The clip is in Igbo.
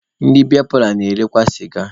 Ndị biya paalọ na-erekwa sịga.